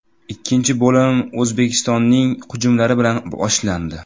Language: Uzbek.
Ikkinchi bo‘lim O‘zbekistonning hujumlari bilan boshlandi.